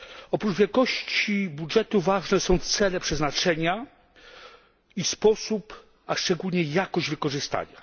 Oprócz wielkości budżetu ważne są cele przeznaczenia i sposób, a szczególnie jakość jego wykorzystania.